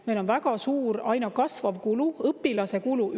Meil on väga suur, aina kasvav õpilase kulu.